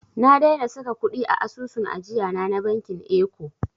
Na daina saka kuɗi a asusun ajiyana na bankin eko.